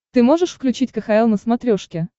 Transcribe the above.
ты можешь включить кхл на смотрешке